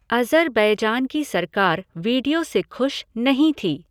Azerbaijan की सरकार video से खुश नहीं थी।